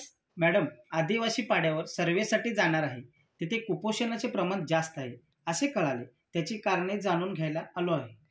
Madam, आदिवासी पाड्यावर सर्वेसाठी जाणार आहे. तिथे कुपोषणाचे प्रमाण जास्त आहे, असे कळले. त्याची करणे जाणून घ्यायला आलो आहे.